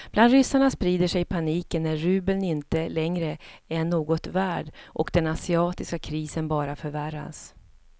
Bland ryssarna sprider sig paniken när rubeln inte längre är något värd och den asiatiska krisen bara förvärras.